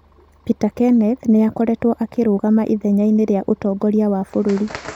Peter Kenneth nĩ aakoretwo akĩrũgama ithenya-inĩ rĩa ũtongoria wa bũrũri.